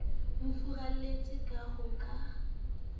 mo furalletse ka ha ho